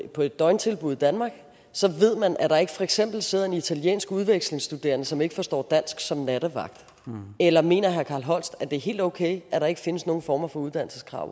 på et døgntilbud i danmark ved man at der ikke for eksempel sidder en italiensk udvekslingsstuderende som ikke forstår dansk som nattevagt eller mener herre carl holst at det er helt okay at der ikke findes nogen former for uddannelseskrav